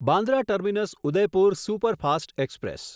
Bandra terminus Udaipur superfast express